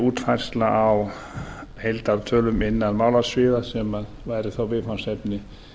útfærsla á heildartölum innan málasviða sem væru þá viðfangsefni